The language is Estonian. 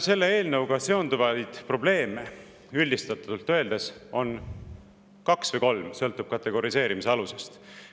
Selle eelnõuga seonduvaid probleeme on üldistatult öeldes kaks või kolm, sõltub kategoriseerimise alusest.